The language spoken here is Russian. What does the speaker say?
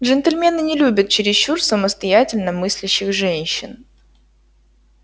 джентльмены не любят чересчур самостоятельно мыслящих женщин